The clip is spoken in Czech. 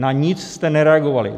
Na nic jste nereagovali.